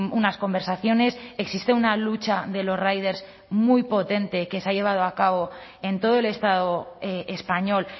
unas conversaciones existe una lucha de los riders muy potente que se ha llevado a cabo en todo el estado español